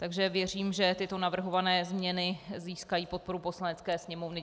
Takže věřím, že tyto navrhované změny získají podporu Poslanecké sněmovny.